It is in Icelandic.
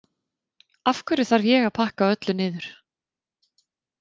Af hverju þarf ég að pakka öllu niður?